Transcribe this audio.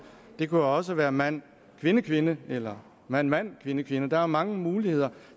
det kunne jo også være mand kvinde kvinde eller mand mand kvinde kvinde der er jo mange muligheder